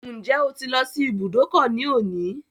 Ǹjẹ́ o ti lọ sí ibùdókọ̀ ní òní?